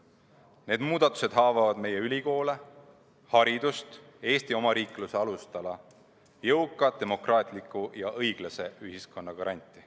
Need muudatused haavavad meie ülikoole, haridust, Eesti omariikluse alustala, jõuka, demokraatliku ja õiglase ühiskonna garanti.